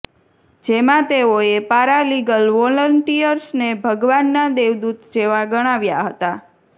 જેમાં તેઓએ paralegal વોલંટીયર્સને ભગવાનના દેવદુત જેવા ગણાવ્યા હતા